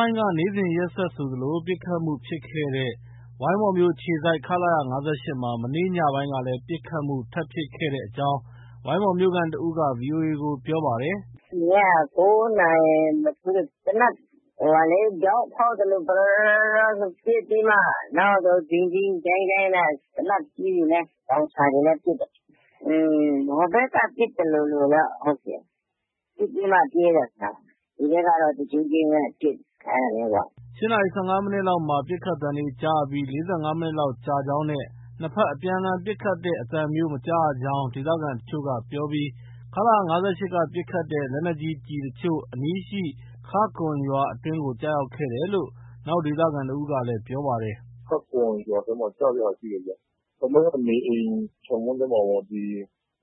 ိုင်းက နေ့စဉ်ရက်ဆက်ဆိုသလို ပစ်ခတ်မှုဖြစ်ခဲ့တဲ့ ဝိုင်းမော်မြို့အခြေစိုက် ခလရ ၅၈ မှာ မနေ့ညပိုင်းကလည်း ပစ်ခတ်မှု ထပ်ဖြစ်ခဲ့တဲ့အကြောင်း ဝိုင်းမော်မြို့ခံတဦးက VOA ကို ပြောပါတယ်။ “ညက ၉ နာရီမထိုးခင် သေနတ် ဗျောက်ဖောက်သလို ဗရော၊ ဗရောနဲ့ ပစ်ပြီးမာ နောက်တော့ ဒိန်း၊ ဒိန်း၊ ဒိုင်း၊ ဒိုင်းနဲ့ သေနတ်ကြီးတွေလည်း၊ လောင်ချာတွေလည်း ပစ်တယ်။ ဟိုဘက်က ပစ်သလိုလိုတော့ ဟုတ်တယ်။ ပစ်ပြီးမှ ပြေးတယ်ထင်တယ်။ ဒီဘက်ကတော့ တဂျိန်းဂျိန်းပဲ ပစ်တာ။ အဲဒါမျိုးပေါ့။” ၈ နာရီ ၁၅ မိနစ်လောက်မှာ ပစ်ခတ်သံတွေကြားရပြီး ၄၅ မိနစ်လောက်ကြာကြောင်းနဲ့ နှစ်ဘက် အပြန်အလှန် ပစ်ခတ်တဲ့အသံမျိုး မကြားရကြောင် ဒေသခံအချို့ကပြောပြီး ခလရ ၅၈ က ပစ်ခတ်တဲ့ လက်နက်ကြီး ကျည်အချို့ အနီးရှိ ခါ့ကွမ်ရွာအတွင်းကို ကျရောက်ခဲ့တယ်လို့ နောက် ဒေသခံတဦးကလည်း ပြောပါတယ်။ “ခါ့ကွမ်ရွာထဲမှာ ကျတဲ့ဟာ ရှိတယ်ဗျ။ တလုံးက နေအိမ်ခြံဝင်းထဲမှာပေါ့။ ဒီ